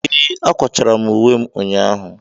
Ee, akwachara m uwe m ụnyahụ.